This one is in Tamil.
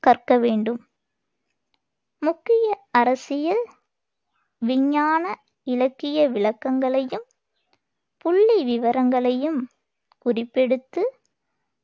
கற்க வேண்டும். முக்கிய அரசியல், விஞ்ஞான, இலக்கிய விளக்கங்களையும் புள்ளி விவரங்களையும் குறிப்பெடுத்து,